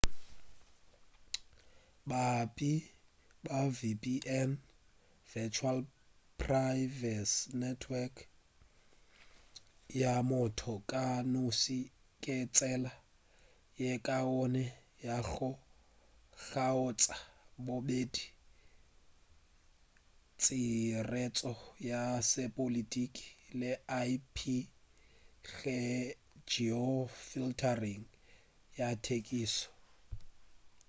baabi ba vpn virtual private network ya motho ka noši ke tsela ye kaone ya go kgaotša bobedi tšhiretšo ya sepolotiki le ip-geofiltering ya thekišo